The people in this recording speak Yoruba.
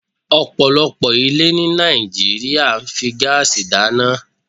ọ̀pọ̀lọpọ̀ ilé ní Nàìjíríà fi ń gáásì dáná.